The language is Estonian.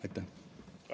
Aitäh!